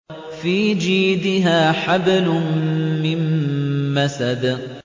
فِي جِيدِهَا حَبْلٌ مِّن مَّسَدٍ